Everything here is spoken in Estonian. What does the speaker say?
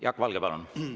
Jaak Valge, palun!